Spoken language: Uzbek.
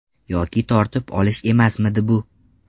Yoki tortib olish emasmidi bu?